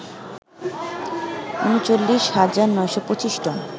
৩৯ হাজার ৯২৫ টন